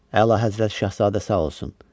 Əlahəzrət Şahzadə sağ olsun.